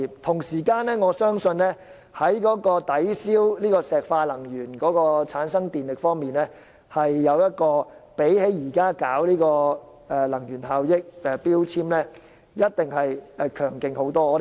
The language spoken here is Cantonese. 同時，在抵銷石化能源產生電力方面，可再生能源發電比推行強制性標籤計劃強勁很多。